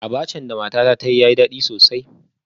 Abacha da matata ta yi yayi dadi sosai